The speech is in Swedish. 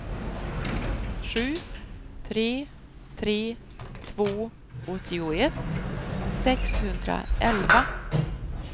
sju tre tre två åttioett sexhundraelva